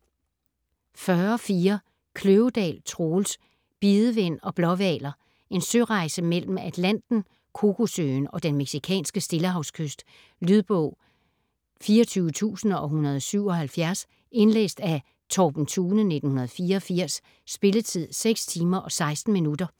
40.4 Kløvedal, Troels: Bidevind og blåhvaler En sørejse mellem Atlanten, Kokosøen og den mexicanske Stillehavskyst. Lydbog 24177 Indlæst af Torben Thune, 1984. Spilletid: 6 timer, 16 minutter.